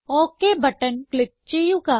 okay button click ചെയ്യുക